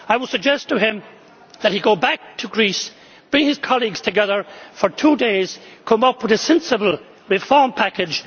seen. I would suggest to him that he go back to Greece, bring his colleagues together for two days and come up with a sensible reform package.